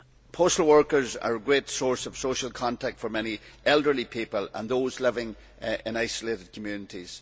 Postal workers are a great source of social contact for many elderly people and those living in isolated communities.